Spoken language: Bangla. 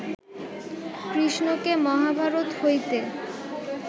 কৃষ্ণকে মহাভারত হইতে